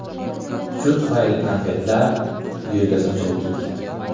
Shu tufayli konfetlar yo‘lga sochilib ketgan.